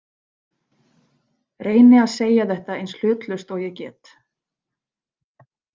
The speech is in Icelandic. Reyni að segja þetta eins hlutlaust og ég get.